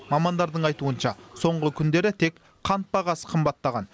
мамандардың айтуынша соңғы күндері тек қант бағасы қымбаттаған